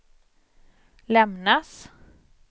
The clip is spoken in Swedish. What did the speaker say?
lämnas